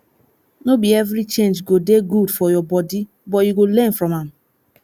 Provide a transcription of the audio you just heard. no be every change go dey good for your body but you go learn from am